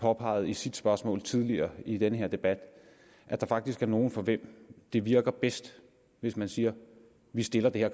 påpegede i sit spørgsmål tidligere i denne debat at der faktisk er nogle for hvem det virker bedst hvis man siger vi stiller det her